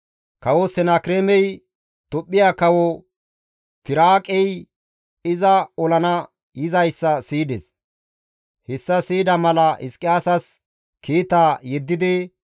Kawo Senakireemey, Tophphiya Kawo Tiraaqey iza olana yizayssa siyides; hessa siyida mala Hizqiyaasas kiita yeddidi,